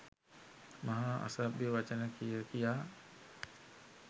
මහා අසභ්‍ය වචන කිය කියා